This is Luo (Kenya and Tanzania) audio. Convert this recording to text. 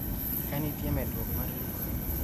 kanitie medruok mar luoro